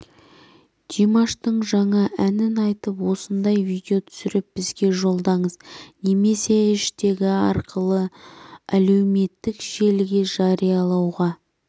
димаштың жаңа әнін айтып осындай видео түсіріп бізге жолдаңыз немесе іэштегі арқылы әлеуметтік желіге жариялауға